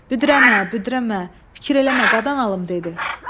Büdrəmə, büdrəmə, fikir eləmə, qadan alım, dedi.